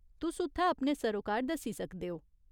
तुस उत्थै अपने सरोकार दस्सी सकदे ओ।